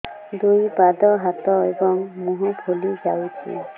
ଦୁଇ ପାଦ ହାତ ଏବଂ ମୁହଁ ଫୁଲି ଯାଉଛି